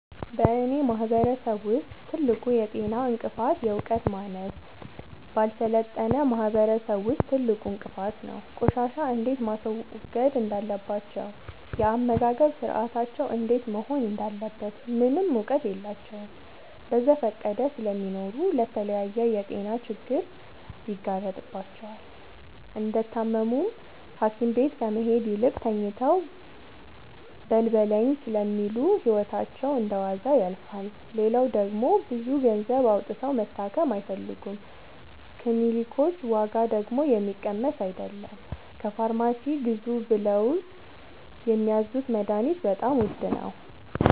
በእኔ ማህበረሰብ ውስጥ ትልቁ የጤና እንቅፍት የዕውቀት ማነስ በአልሰለጠነ ማህበረሰብ ውስጥ ትልቁ እንቅፋት ነው። ቆሻሻ እንዴት ማስወገድ እንዳለባቸው የአመጋገብ ስርአታቸው እንዴት መሆን እንዳለበት ምንም እውቀት የላቸውም በዘፈቀደ ስለሚኖሩ ለተለያየ የጤና ችግር ይጋረጥባቸዋል። እንደታመሙም ሀኪቤት ከመሄድ ይልቅ ተኝተው በልበለኝ ስለሚሉ ህይወታቸው እንደዋዛ ያልፋል። ሌላው ደግሞ ብዙ ገንዘብ አውጥተው መታከም አይፈልጉም ክኒልኮች ዋጋደግሞ የሚቀመስ አይለም። ከፋርማሲ ግዙ ብለውት የሚያዙት መደሀኒትም በጣም ውድ ነው።